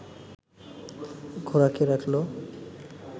ঘোড়া কে রাখল